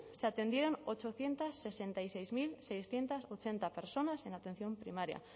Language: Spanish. se atendieron ochocientos sesenta y seis mil seiscientos ochenta personas en atención primaria